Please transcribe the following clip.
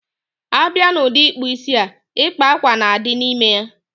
Abia n udi ikpu isi a, ịkpa ákwà na adi n ime ya